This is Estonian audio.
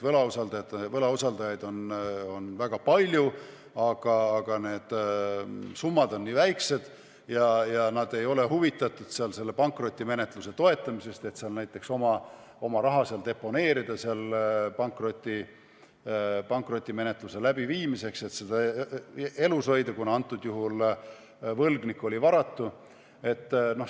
Võlausaldajaid on väga palju, aga need summad on nii väikesed ja nad ei ole huvitatud seal selle pankrotimenetluse toetamisest, et seal näiteks oma raha deponeerida seal pankrotimenetluse läbiviimiseks, et seda elus hoida, sest võlgnik oli varatu.